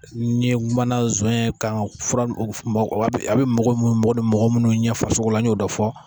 Ni n kumana zɔɲɛ kan ga fura o a be mago mun ni mago mago munnu ɲɛ farisogo an y'o dɔ fɔ